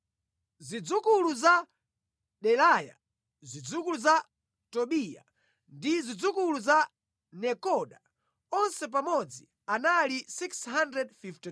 Zidzukulu za Delaya, zidzukulu za Tobiya, ndi zidzukulu za Nekoda. Onse pamodzi anali 652.